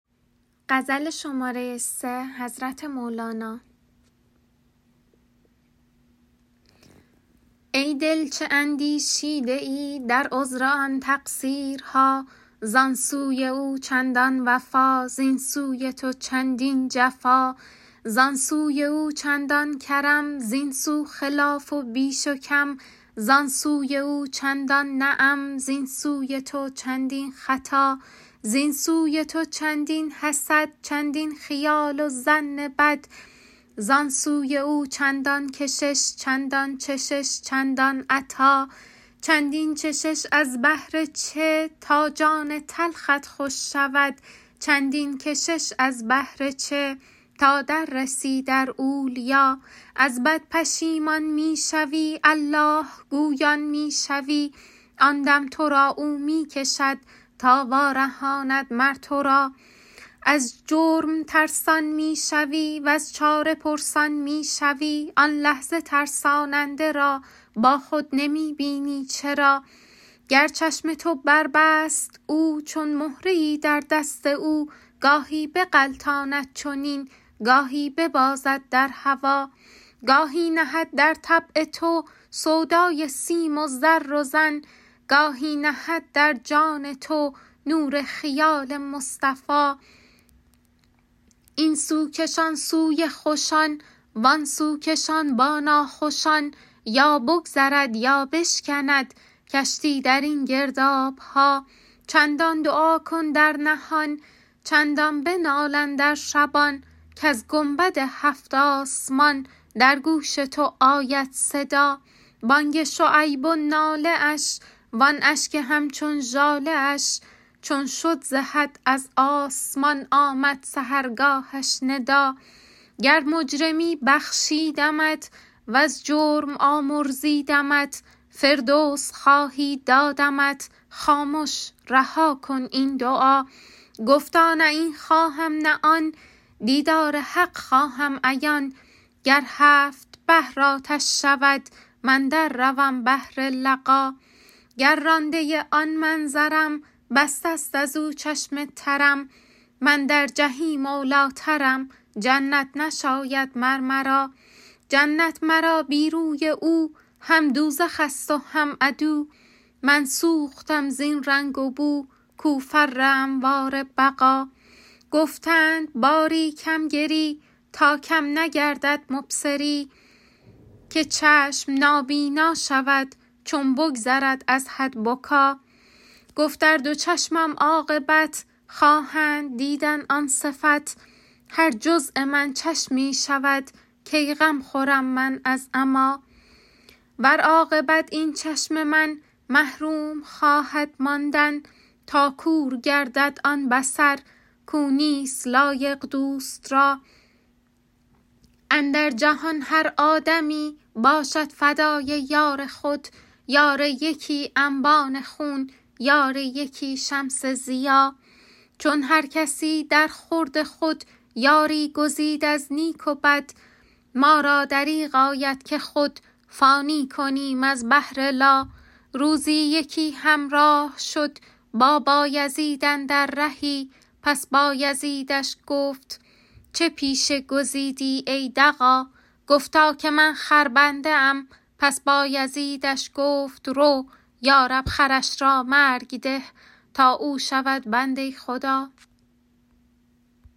ای دل چه اندیشیده ای در عذر آن تقصیرها زان سوی او چندان وفا زین سوی تو چندین جفا زان سوی او چندان کرم زین سو خلاف و بیش و کم زان سوی او چندان نعم زین سوی تو چندین خطا زین سوی تو چندین حسد چندین خیال و ظن بد زان سوی او چندان کشش چندان چشش چندان عطا چندین چشش از بهر چه تا جان تلخت خوش شود چندین کشش از بهر چه تا در رسی در اولیا از بد پشیمان می شوی الله گویان می شوی آن دم تو را او می کشد تا وارهاند مر تو را از جرم ترسان می شوی وز چاره پرسان می شوی آن لحظه ترساننده را با خود نمی بینی چرا گر چشم تو بربست او چون مهره ای در دست او گاهی بغلطاند چنین گاهی ببازد در هوا گاهی نهد در طبع تو سودای سیم و زر و زن گاهی نهد در جان تو نور خیال مصطفیٰ این سو کشان سوی خوشان وان سو کشان با ناخوشان یا بگذرد یا بشکند کشتی در این گرداب ها چندان دعا کن در نهان چندان بنال اندر شبان کز گنبد هفت آسمان در گوش تو آید صدا بانگ شعیب و ناله اش وان اشک همچون ژاله اش چون شد ز حد از آسمان آمد سحرگاهش ندا گر مجرمی بخشیدمت وز جرم آمرزیدمت فردوس خواهی دادمت خامش رها کن این دعا گفتا نه این خواهم نه آن دیدار حق خواهم عیان گر هفت بحر آتش شود من در روم بهر لقا گر رانده آن منظرم بسته است از او چشم ترم من در جحیم اولی ٰترم جنت نشاید مر مرا جنت مرا بی روی او هم دوزخ ست و هم عدو من سوختم زین رنگ و بو کو فر انوار بقا گفتند باری کم گری تا کم نگردد مبصری که چشم نابینا شود چون بگذرد از حد بکا گفت ار دو چشمم عاقبت خواهند دیدن آن صفت هر جزو من چشمی شود کی غم خورم من از عمیٰ ور عاقبت این چشم من محروم خواهد ماندن تا کور گردد آن بصر کو نیست لایق دوست را اندر جهان هر آدمی باشد فدای یار خود یار یکی انبان خون یار یکی شمس ضیا چون هر کسی درخورد خود یاری گزید از نیک و بد ما را دریغ آید که خود فانی کنیم از بهر لا روزی یکی همراه شد با بایزید اندر رهی پس بایزیدش گفت چه پیشه گزیدی ای دغا گفتا که من خربنده ام پس بایزیدش گفت رو یا رب خرش را مرگ ده تا او شود بنده خدا